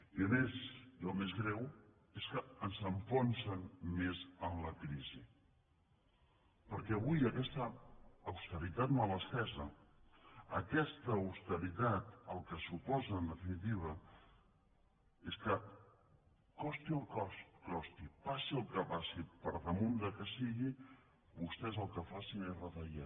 i a més i el més greu és que ens enfonsen més en la crisi perquè avui aquesta austeritat mal entesa aquesta austeritat el que suposa en definitiva és que costi el que costi passi el que passi per damunt del que sigui vostès el que facin és retallar